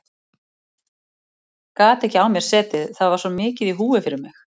Gat ekki á mér setið, það var svo mikið í húfi fyrir mig.